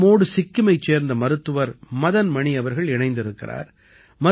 நம்மோடு சிக்கிமைச் சேர்ந்த மருத்துவர் மதன் மணி அவர்கள் இணைந்திருக்கிறார்